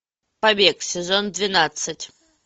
побег сезон двенадцать